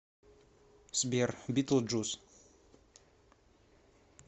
сбер битлджус